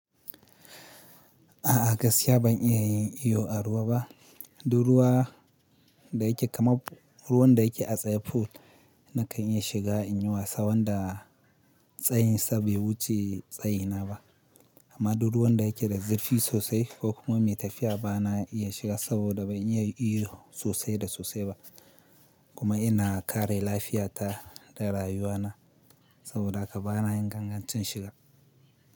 A'a gaskiya ban iya yin iyo a ruwa ba. Duk ruwa da yake kaman ruwan da yake a tsaye pool nakan iya shiga in yi wasa wanda tsayin sa bai wuce tsayina ba amma duk ruwan da yake da zurfi sosai ko kuma mai tafiya bana iya shiga saboda ban iya iyo sosai da sosai ba kuma ina kare lafiyata da rayuwana saboda haka bana yin gangancin shiga.